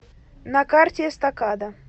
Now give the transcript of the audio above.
на карте эстакада